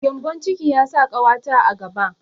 Gembon ciki ya sa ƙawata a gaba.